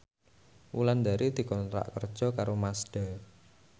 Wulandari dikontrak kerja karo Mazda